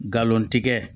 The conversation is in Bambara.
Galon tigɛ